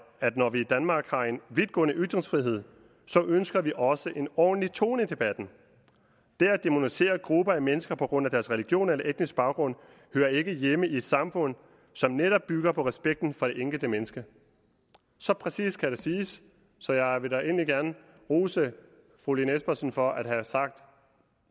at når vi i danmark har en vidtgående ytringsfrihed så ønsker vi også en ordentlig tone i debatten det at dæmonisere grupper af mennesker på grund af deres religion eller etniske baggrund hører ikke hjemme i et samfund som netop bygger på respekten for det enkelte menneske så præcist kan det siges så jeg vil egentlig gerne rose fru lene espersen for at have sagt